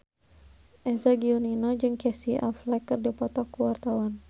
Eza Gionino jeung Casey Affleck keur dipoto ku wartawan